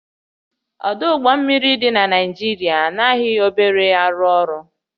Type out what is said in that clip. Ọdụ ụgbọ mmiri dị na Naịjirịa anaghị obere arụ ọrụ